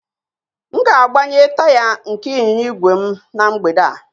M ga-agbanye taya nke ịnyịnya ígwè m na mgbede a